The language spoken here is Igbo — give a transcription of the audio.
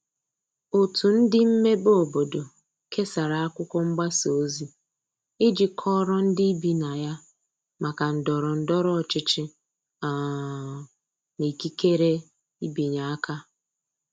otu ndi mmebe obodo kesara akwụkwo mgbasa ozi iji kọoro ndi ibi na ya maka ndoro ndoro ochichi um na ikekere ịbịanye aka